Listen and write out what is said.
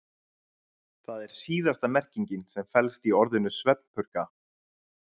Það er síðasta merkingin sem felst í orðinu svefnpurka.